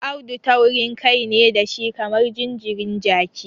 Audu taurinkai ne da shi kamar jinjirin jaki.